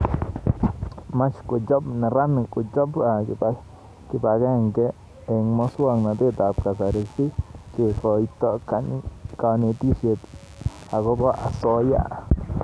much kochop neranik kochop kibaagenege eng' mswognatet ab kasari si kekoito kanetishet akobo asoya